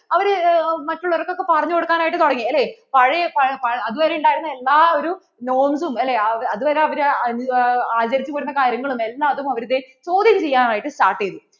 അവർ മറ്റുള്ളവർക്കു ഒക്കെ പറഞ്ഞു കൊടുക്കാൻ ആയിട്ട് തുടങ്ങി അല്ലെ പഴയ, അതുവരെ ഉണ്ടായിരുന്ന എല്ലാ ഒരു norms ഉം അല്ലെ അതുവരെ അവര് ആചരിച്ചു വന്നിരുന്ന കാര്യങ്ങളും എല്ലാം അവർ ദേ ചോദ്യം ചെയ്യാൻ ആയിട്ട് start